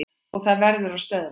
Og það verður að stöðva.